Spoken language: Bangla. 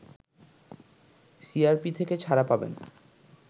সিআরপি থেকে ছাড়া পাবেন